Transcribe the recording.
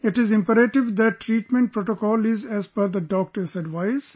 It is imperative that treatment protocol is as per the Doctor's advice